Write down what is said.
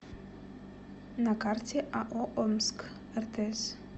на карте ао омск ртс